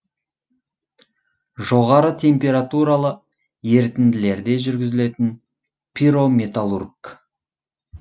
жоғары температуралы ерітінділерде жүргізілетін пирометаллург